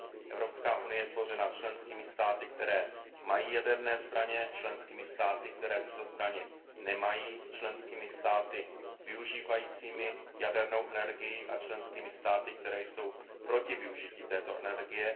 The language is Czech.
Evropská unie je tvořena členskými státy, které mají jaderné zbraně, členskými státy, které tyto zbraně nemají, členskými státy využívajícími jadernou energii a členskými státy, které jsou proti využití této energie.